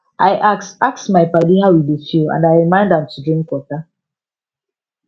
i ask ask my padi how e dey feel and i remind am to drink water